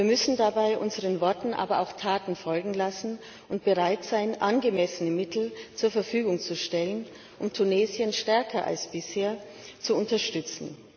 Wir müssen dabei unseren Worten aber auch Taten folgen lassen und bereit sein, angemessene Mittel zur Verfügung zu stellen, um Tunesien stärker als bisher zu unterstützen.